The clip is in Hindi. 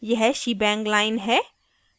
यह शीबैंग line है